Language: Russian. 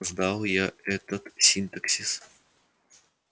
сдал я этот синтаксис